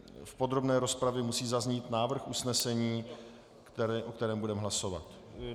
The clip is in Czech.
V podrobné rozpravě musí zaznít návrh usnesení, o kterém budeme hlasovat.